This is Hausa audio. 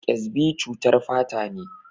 Ƙyasbi cutar fata ne.